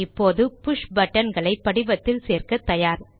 இப்போது push button களை படிவத்தில் சேர்க்க தயார்